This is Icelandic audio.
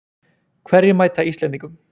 Hverjir mæta Íslendingum